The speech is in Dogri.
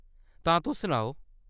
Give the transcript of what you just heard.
तां ,तुस सनाओ ?